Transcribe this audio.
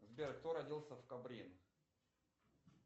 сбер кто родился в кабрин